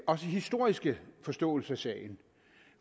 også historiske forståelse af sagen